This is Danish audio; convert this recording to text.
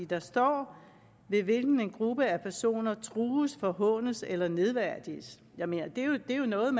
der står ved hvilken en gruppe af personer trues forhånes eller nedværdiges det er jo noget